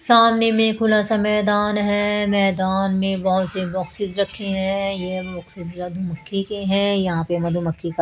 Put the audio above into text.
सामने में खुलासा मैदान है मैदान में बहोत से बॉक्सेस रखे हैं ये बॉक्सेस के हैं यहां पे मधुमक्खी का--